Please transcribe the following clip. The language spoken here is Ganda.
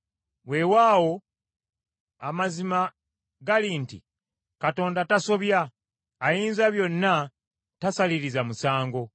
Weewaawo amazima gali nti, Katonda tasobya. Ayinzabyonna tasaliriza musango.